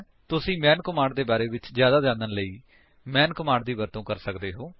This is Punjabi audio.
ਤੁਸੀ ਮੈਨ ਕਮਾਂਡ ਦੇ ਬਾਰੇ ਵਿੱਚ ਹੀ ਜਿਆਦਾ ਜਾਣਨ ਲਈ ਮੈਂਨ ਕਮਾਂਡ ਦੀ ਵਰਤੋ ਕਰ ਸਕਦੇ ਹੋ